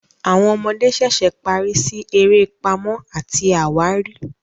Àwọn ọmọdé ṣẹṣẹ parí sí eré Pàmò àti àwárí.